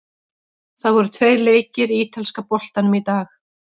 Það voru tveir leikir í ítalska boltanum í dag.